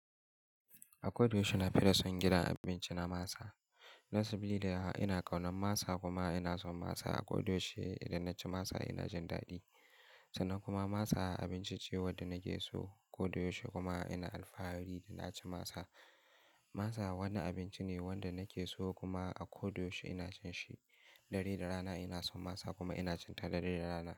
A ko da yaushe na fi son gidan abinci na masa. Saboda ina ƙaunar masa kuma ina son masa. A ko da yaushe idan na ci masa ina jin daɗi. Sannan kuma masa abinci ce wanda nake so. A ko da yaushe kuma ina alfahari idan na ci masa. Masa wani abinci ne wanda nake so kuma a ko da yaushe ina cin shi. Dare da rana ina son masa kuma ina cinta dare da rana.